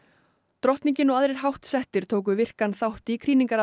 drottningin og aðrir hátt settir tóku virkan þátt í